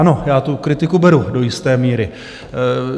Ano, já tu kritiku beru do jisté míry.